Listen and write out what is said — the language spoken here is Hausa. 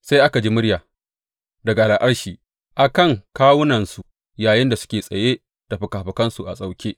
Sai aka ji murya daga al’arshi a kan kawunansu yayinda suke tsaye da fikafikansu a sauke.